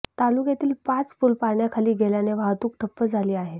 तालुक्यातील पाच पूल पाण्याखाली गेल्याने वाहतूक ठप्प झाली आहे